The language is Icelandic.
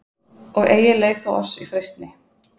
Og eigi leið þú oss í freistni,